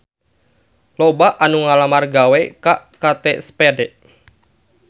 Loba anu ngalamar gawe ka Kate Spade